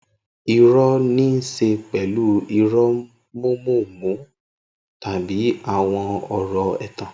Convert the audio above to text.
Irọ́ ní í ṣe pẹ̀lú irọ́ mọ̀ọ́mọ̀ọ́mọ̀ tàbí àwọn ọ̀rọ̀ ẹ̀tàn.